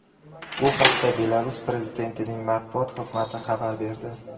Bu haqda Belarus prezidentining matbuot xizmati xabar berdi .